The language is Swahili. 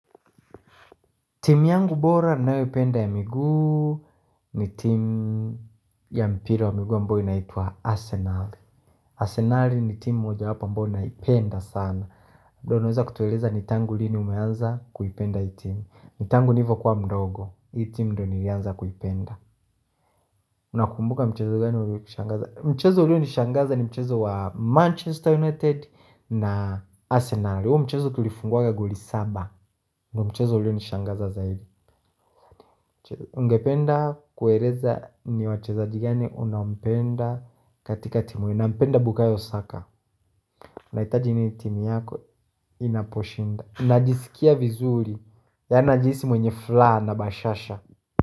Timu yangu bora ninayoipenda ya miguu ni timu ya mpira wa miguu ambayo inaitwa Arsenal Arsenali ni timu moja wapo ambayo naipenda sana labda unaweza kutueleza nitangu lini umeanza kuipenda hii timu Nitangu nilivo kuwa mdogo, hii timu ndo nilianza kuipenda una kumbuka mchezo mgani uliokushangaza? Mchezo ulionishangaza ni mchezo wa Manchester United na Arsenal huo mchezo tulifungwaga goli saba ndo mchezo ulionishangaza zaidi Ungependa kueleza ni wachezaji gani unampenda katika timu hii nampenda bukayo saka Naitaji nini timu yako inaposhinda Najisikia vizuri yaani najisi mwenye furaha na bashasha.